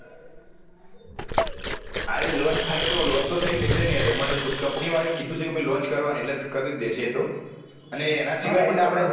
હા એ launch થાય તો launch તો થયી જશે યાર એમાં તો શું company વાળા એ કીધું છે કે ભાઈ launch કરવા એટલે કરી દેશે એતો અને એના સીવાય